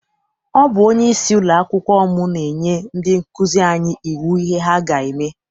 Ọ bụ onyeisi ụlọakwụkwọ m na-enye ndị nkụzi anyi iwu ihe ha ga-eme.